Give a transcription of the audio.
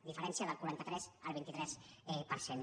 diferència del quaranta tres al vint tres per cent